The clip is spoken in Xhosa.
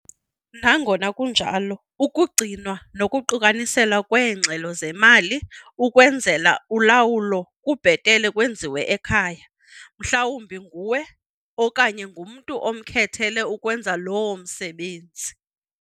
Nangona kunjalo, ukugcinwa nokuqukaniselwa kweengxelo zemali ukwenzela ulawulo kubhetele kwenziwe ekhaya - mhlawumbi nguwe okanye ngumntu omkhethele ukwenza loo msebenzi.